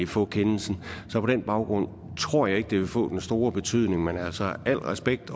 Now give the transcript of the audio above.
få kendelsen så på den baggrund tror jeg ikke at det vil få den store betydning men altså al respekt